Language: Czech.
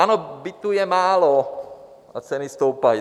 Ano, bytů je málo a ceny stoupají.